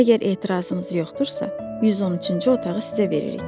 Əgər etirazınız yoxdursa, 113-cü otağı sizə veririk.